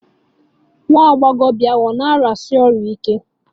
Nwa agbọghọ ahụ ọ̀ na-arịasi ọrịa ike?